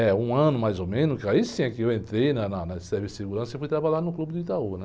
É, um ano mais ou menos, que aí sim é que eu entrei né? Na área de Serviço e Segurança e fui trabalhar no Clube do Itaú, né?